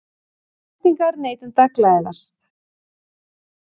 Væntingar neytenda glæðast